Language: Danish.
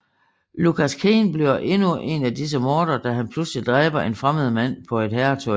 Lucas Kane bliver endnu en af disse mordere da han pludselig dræber en fremmed mand på et herretoilet